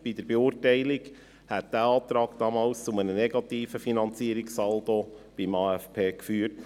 Bei der Beurteilung kamen wir zum Schluss, dieser Antrag hätte damals zu einem negativen Finanzierungssaldo beim AFP geführt.